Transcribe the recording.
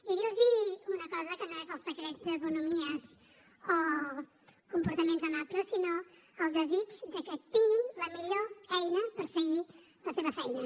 i dir los una cosa que no és el secret de bonhomies o comportaments amables sinó el desig que tinguin la millor eina per seguir la seva feina